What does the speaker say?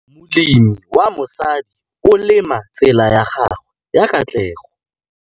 Molemi wa mosadi o lema tsela ya gagwe ya katlego.